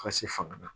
Ka se fanga na